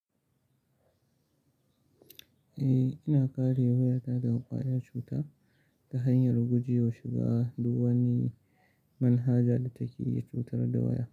Eh, ina kare wayata daga ƙwaya cuta ta hanyar guje wa shiga duk wani manhaja da take cutar da waya.